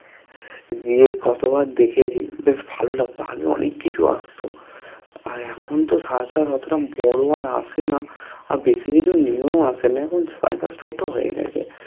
গিয়ে কতো বার দেখেছি বেশ ভালো লাগতো আগে অনেক কিছু আস্ত আর এখন তো সরাসরি অতোটা বড়ো আর আশে না আর বেশি কিছু new ও আসেনা এখন circus ছোটো হয়ে গেছে